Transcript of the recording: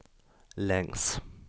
längs